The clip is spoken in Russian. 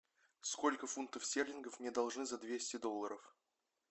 сколько фунтов стерлингов мне должны за двести долларов